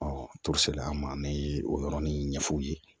an ma o yɔrɔnin ɲɛf'u ye